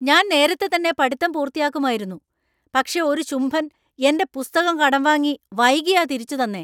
ഞാന്‍ നേരത്തെ തന്നെ പടിത്തം പൂർത്തിയാക്കുമായിരുന്നു, പക്ഷേ ഒരു ശുംഭൻ എന്‍റെ പുസ്തകം കടം വാങ്ങി വൈകിയാ തിരിച്ചു തന്നേ!